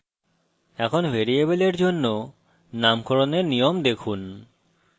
এখন ভ্যারিয়েবলের জন্য নামকরণের নিয়ম দেখুন